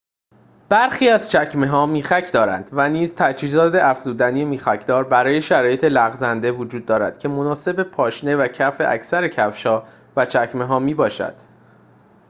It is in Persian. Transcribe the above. برخی از چکمه‌ها میخک دارد و نیز تجهیزات افزودنی میخک‌دار برای شرایط لغزنده وجود دارد که مناسب پاشنه و کف اکثر کفش‌ها و چکمه‌ها می‌باشد